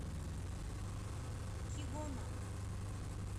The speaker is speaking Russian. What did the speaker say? кигома